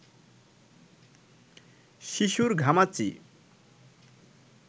শিশুর ঘামাচি